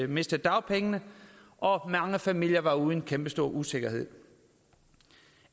mistede dagpengene og mange familier var ude i en kæmpestor usikkerhed